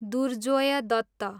Durjoy Dutt